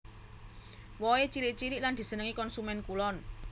Wohé cilik cilik lan disenengi konsumèn kulon